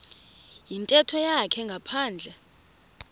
yintetho yakhe ngaphandle